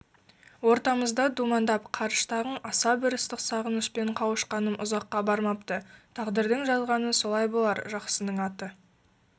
ортамызда думандап қарыштағың аса бір ыстық сағынышпен қауышқаным ұзаққа бармапты тағдырдың жазғаны солай болар жақсының аты